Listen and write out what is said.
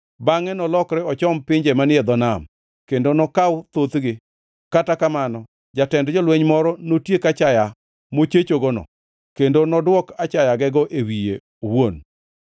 Bangʼe nolokre ochom pinje manie dho nam, kendo nokaw thothgi, kata kamano jatend jolweny moro notiek achaya mochechogono, kendo nodwok achayagego e wiye owuon.